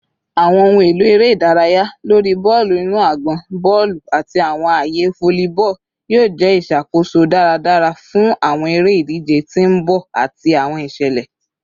Awọn ohun elo ere idaraya lori bọọlu inu agbọn, bọọlu, ati awọn aaye volleyball yoo jẹ iṣakoso daradara fun awọn ere-idije ti n bọ ati awọn iṣẹlẹ